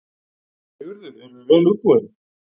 Sigurður: Eruð þið vel útbúin?